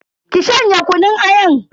Ki shanye kunun ayan.